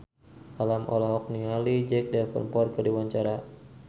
Alam olohok ningali Jack Davenport keur diwawancara